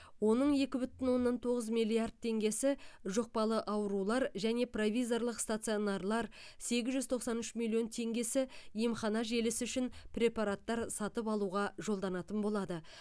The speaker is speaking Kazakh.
оның екі бүтін оннан тоғыз миллиард теңгесі жұқпалы аурулар және провизорлық стационарлар сегіз жүз тоқсан үш миллион теңгесі емхана желісі үшін препараттар сатып алуға жолданатын болады